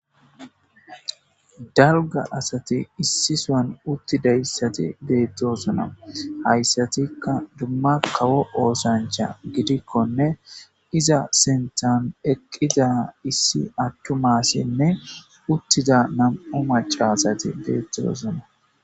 Daro asati issi sohoni utidayisi betosona. Hayisatikka duma duma kawo ossanicha gidikonne iza sinthani eqiida issi atuma assine utidda namu'u macca asati betosona.